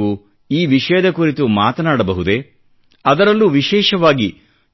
ನೀವು ಈ ವಿಷಯದ ಕುರಿತು ಮಾತನಾಡಬಹುದೇಅದರಲ್ಲೂ ವಿಶೇಷವಾಗಿ